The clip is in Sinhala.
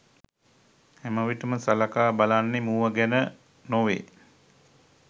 හැමවිට ම සලකා බලන්නේ මුව ගැන නො වේ.